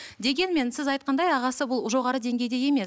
дегенмен сіз айтқандай ағасы бұл жоғары деңгейде емес